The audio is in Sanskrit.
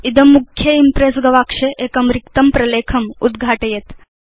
इदं मुख्य इम्प्रेस् गवाक्षे एकं रिक्तं प्रलेखम् उद्घघाटयेत्